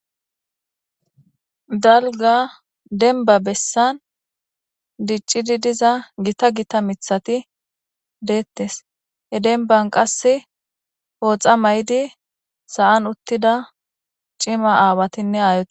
Dalgga dembba bessan diccidi diza gita gita miththati deetes. He dembban qasse pooxa mayidi sa'an uttida cima aawatinne aayeti de'osona.